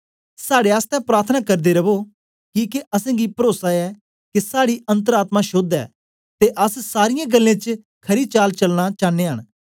साड़े आसतै प्रार्थना करदे रवो किके असेंगी परोसा ऐ के साड़ी अन्तर आत्मा शोद्ध ऐ ते अस सारीयें गल्लें च खरी चाल चलना चानयां न